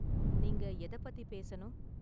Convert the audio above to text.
நீங்க எதப் பத்தி பேசணும்?